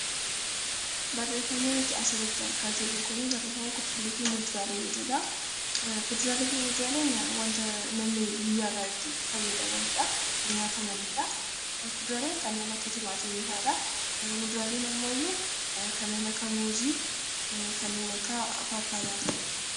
Kuduraalee fi muduraaleen wanta guyyaarraa itti fayyadamanidha. Kuduraaleen kanneen akka tilmaamii fa'aadha. Muduraan immoo kanneen akka muuzii, pappaayaa fa'aadha